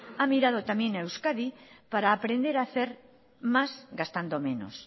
ha mirado también a euskadi para aprender hacer más gastando menos